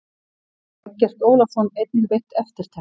Eggert Ólafsson einnig veitt eftirtekt.